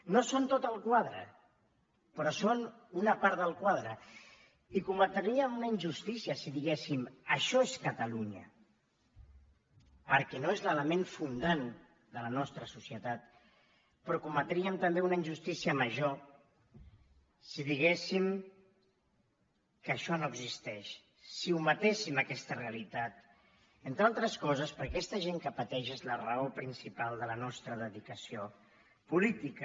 no són tot el quadre però són una part del quadre i cometríem una injustícia si diguéssim això és catalunya perquè no és l’element fundant de la nostra societat però cometríem també una injustícia major si diguéssim que això no existeix si ometéssim aquesta realitat entre altres coses perquè aquesta gent que pateix és la raó principal de la nostra dedicació política